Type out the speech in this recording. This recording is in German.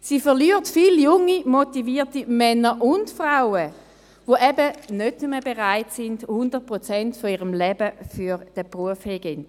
Sie verliert viele junge, motivierte Männer und Frauen, die nicht mehr bereit sind, 100 Prozent ihres Lebens für den Beruf herzugeben.